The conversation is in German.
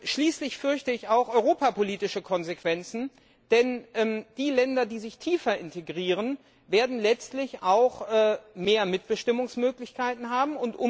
Schließlich fürchte ich auch europapolitische Konsequenzen, denn die Länder, die sich stärker integrieren, werden letztlich auch mehr Mitbestimmungsmöglichkeiten haben.